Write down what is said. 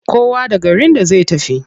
Kowa da garin da zai tafi.